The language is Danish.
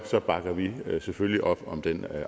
bakker vi selvfølgelig op om den